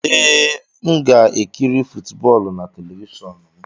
Ee, m ga-ekiri footboolu na telivishọn m.